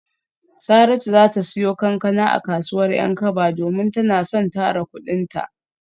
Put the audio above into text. Saratu za ta siyo kankana a kasuwar Yankaba domin tana son tara kudinta.